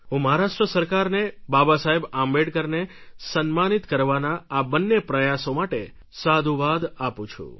હું મહારાષ્ટ્ર સરકારને બાબાસાહેબ આંબેડકરને સન્માનિત કરવાના આ બંને પ્રયાસો માટે સાધુવાદ આપું છું